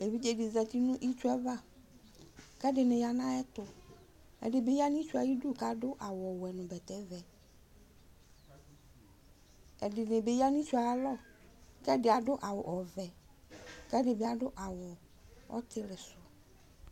evidzedi zati nʋ itsu'avaKʋ ɛdini ya nʋ ayɛtu Ɛdibi yanʋ itsuyɛ ayidu Kʋ adʋ awuwɛ, nu bɛtɛvɛƐdini bi yanu itsu yɛalɔKʋ ɛdi adʋ awu ɔvɛKʋ ɛdibi adʋ awu ɔtilisu